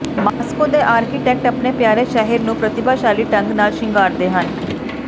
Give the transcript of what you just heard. Moscow ਦੇ architect ਆਪਣੀ ਪਿਆਰੇ ਸ਼ਹਿਰ ਨੂੰ ਪ੍ਰਤਿਭਾਸ਼ਾਲੀ ਢੰਗ ਨਾਲ ਸ਼ਿੰਗਾਰਦੇ ਹਨ